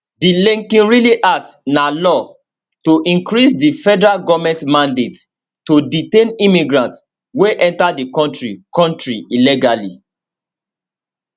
di laken riley act na law to increase di federal goment mandate to detain immigrants wey enta di kontri kontri illegally